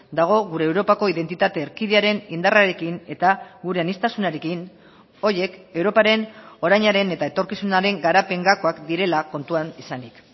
dago gure europako identitate erkidearen indarrarekin eta gure aniztasunarekin horiek europaren orainaren eta etorkizunaren garapen gakoak direla kontuan izanik